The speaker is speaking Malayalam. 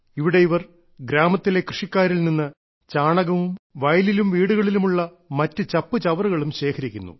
ഇവിടെ ഇവർ ഗ്രാമത്തിലെ കൃഷിക്കാരിൽ നിന്നും ചാണകവും വയലിലും വീടുകളിലും ഉള്ള മറ്റു ചപ്പുചവറുകളും ശേഖരിക്കുന്നു